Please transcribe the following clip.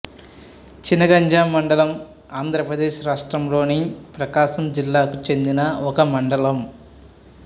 చినగంజాం మండలం ఆంధ్రప్రదేశ్ రాష్ట్రంలోని ప్రకాశం జిల్లాకు చెందిన ఒక మండలం